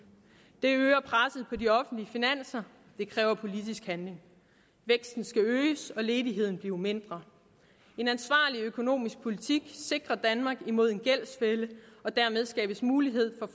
det de offentlige finanser det kræver politisk handling væksten skal øges og ledigheden blive mindre en ansvarlig økonomisk politik sikrer danmark imod en gældsfælde og dermed skabes mulighed for